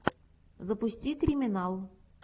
запусти криминал